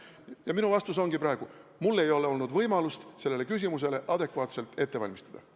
Ja minu vastus ongi praegu: mul ei olnud võimalust sellele küsimusele adekvaatselt vastamiseks valmistuda.